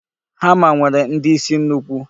Hama nwere ndi isi nnukwu.